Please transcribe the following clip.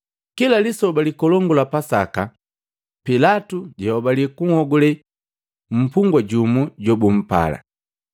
Kila Lisoba likolongu la Pasaka, Pilatu jayobali kunhogule mpugwa jumu jobumpala.